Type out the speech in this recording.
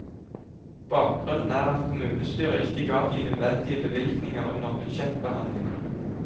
Bakgrunnen er at kommunestyret ikke ga de nødvendige bevilgninger under budsjettbehandlingen.